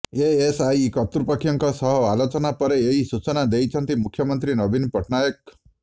ASI କର୍ତ୍ତୃପକ୍ଷଙ୍କ ସହ ଆଲୋଚନା ପରେ ଏହି ସୂଚନା ଦେଇଛନ୍ତି ମୁଖ୍ୟମନ୍ତ୍ରୀ ନବୀନ ପଟ୍ଟନାୟକ